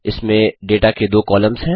इसमें डेटा के दो कॉलम्स हैं